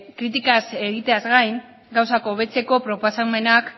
kritikaz egiteaz gain gauzak hobetzeko proposamenak